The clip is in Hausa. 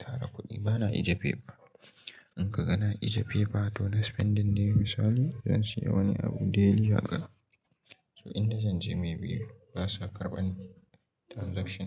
tara kuɗi bana ajiye paper. In ka ga na ajiye paper to na spending day misali zan siya wani abu daily haka. So in da zan je maybe ba sa karɓan transaction.